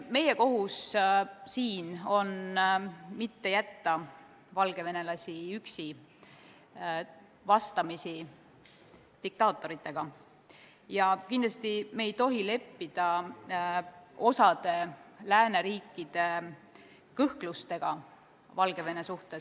Meie kohus on mitte jätta valgevenelasi üksi diktaatoritega vastamisi ja kindlasti ei tohi me leppida osa lääneriikide kõhklustega Valgevene suhtes.